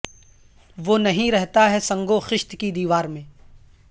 وہ نہیں رہتا ہے سنگ و خشت کی دیوار میں